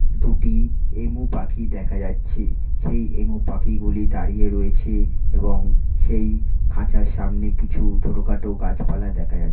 দুটি এমু পাখি দেখা যাচ্ছে। সেই এমু পাখি গুলি দাঁড়িয়ে রয়েছে এবং সেই খাঁচার সামনে কিছু ছোটখাটো গাছপালা দেখা যাচ--